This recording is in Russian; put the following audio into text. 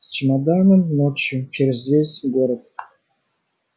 с чемоданом ночью через весь город